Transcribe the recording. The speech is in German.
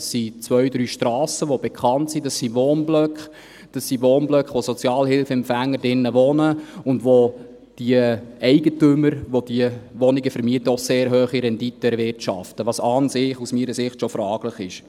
Das sind zwei bis drei bekannte Strassen, das sind Wohnblöcke, das sind Wohnblöcke, in denen Sozialhilfeempfänger wohnen, wo die Wohnungseigentümer sehr hohe Renditen erwirtschaften, was meiner Meinung nach an und für sich sehr fragwürdig ist.